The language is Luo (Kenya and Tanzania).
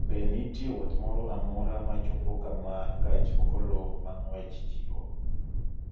Be nitie wuoth moro amora ma chopo kama gach okoloma ng�wech chiwo